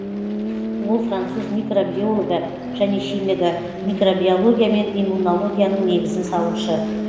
ол француз микробиологы және химигі микробиология мен иммунологияның негізін салушы